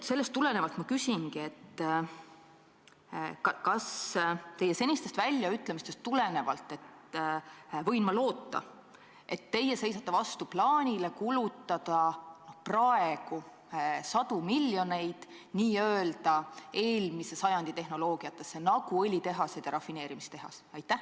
Sellest tulenevalt ma küsingi: kas teie senistest väljaütlemistest tulenevalt võin ma loota, et te seisate vastu plaanile kulutada praegu sadu miljoneid n-ö eelmise sajandi tehnoloogiatele, nagu õlitehased ja rafineerimistehas?